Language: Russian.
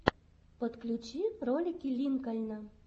подключи ролики линкольна